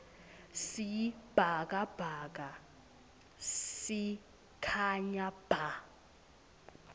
sibhakabhaka sikhanya bha